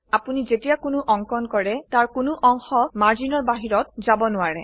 আপোনি যেতিয়া কোনো অঙ্কন কৰে তাৰ কোনো অংশ মাৰ্জিনৰ বাহিৰত যাব নোৱাৰে